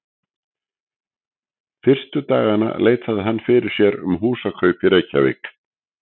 Fyrstu dagana leitaði hann fyrir sér um húsakaup í Reykjavík.